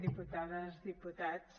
diputades diputats